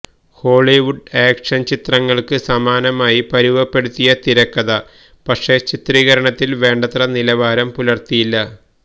Hollywood action ചിത്രങ്ങൾക്ക് സമാനമായി പരുവപ്പെടുത്തിയ തിരക്കഥ പക്ഷെ ചിത്രീകരണത്തിൽ വേണ്ടത്ര നിലവാരം പുലർത്തിയില്ല